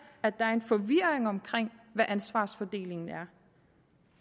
at der er en forvirring om hvad ansvarsfordelingen er